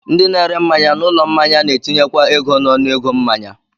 Ndị na-ere mmanya n'ụlọ mmanya na-etinyekwa ego n'ọnụego mmanya